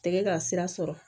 Tɛgɛ ka sira sɔrɔ